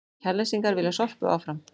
Kjalnesingar vilja Sorpu áfram